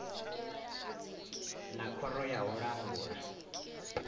na khoro ya u langula